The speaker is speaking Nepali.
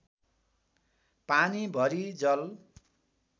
पानी भरि जल